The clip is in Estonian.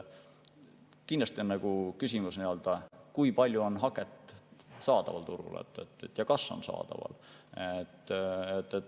Kindlasti on küsimus, kui palju haket turul saadaval on või kas on saadaval.